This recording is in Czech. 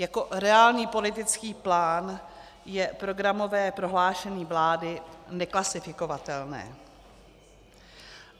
Jako reálný politický plán je programové prohlášení vlády neklasifikovatelné.